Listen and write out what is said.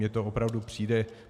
Mně to opravdu přijde...